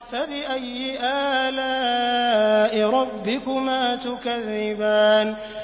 فَبِأَيِّ آلَاءِ رَبِّكُمَا تُكَذِّبَانِ